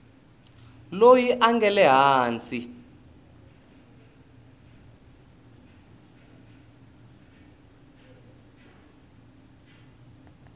loyi a nga le hansi